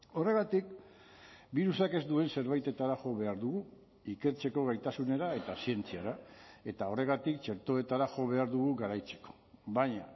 horregatik birusak ez duen zerbaitetara jo behar dugu ikertzeko gaitasunera eta zientziara eta horregatik txertoetara jo behar dugu garaitzeko baina